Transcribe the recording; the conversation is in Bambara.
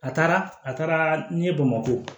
A taara a taara ɲɛ bamakɔ